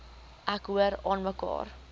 ek hoor aanmekaar